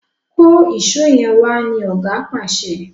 kọ Èṣó yén wá! ní oga pàṣẹ.